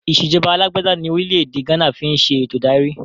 Ìsèjọba alàgbàda ní orílẹ̀ èdè gánà ń fi ń ṣe eto ìdarí